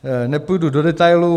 Nepůjdu do detailů.